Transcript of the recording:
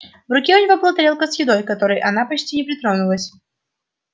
в руке у него была тарелка с едой к которой она почти не притронулась